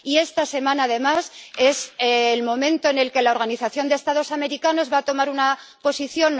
Y esta semana, además, es el momento en el que la Organización de los Estados Americanos va a adoptar una posición.